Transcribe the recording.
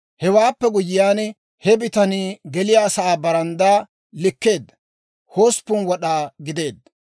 Hewaappe guyyiyaan, he bitanii geliyaasaa baranddaa likkeedda; 8 wad'aa gideedda.